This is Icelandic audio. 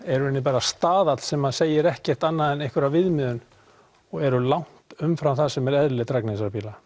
í rauninni bara staðall sem segir ekkert annað en einhverja viðmiðun og eru langt umfram það sem er eðlileg drægni þessara bíla